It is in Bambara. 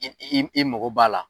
I i i mago b'a la.